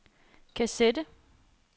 kassette